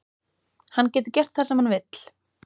Hann getur gert það sem hann vill.